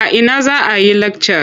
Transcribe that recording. A ina za a yi lakcar?